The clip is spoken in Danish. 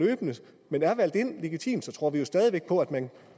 er valgt ind legitimt så tror vi jo stadig væk på at man